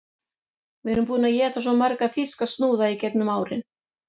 Við erum búin að éta svo marga þýska snúða í gegnum árin